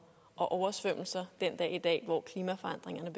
og oversvømmelser den dag i dag hvor klimaforandringerne